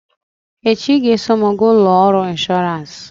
echi ị ga-eso m gaa ụlọ ọrụ ịnshọọransị!